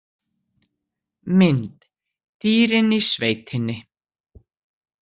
Mynd: Dýrin í sveitinni